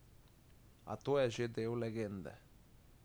A to je že del legende.